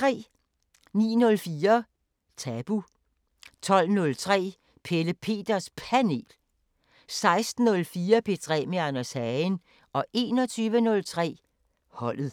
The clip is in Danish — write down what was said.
09:04: Tabu 12:03: Pelle Peters Panel 16:04: P3 med Anders Hagen 21:03: Holdet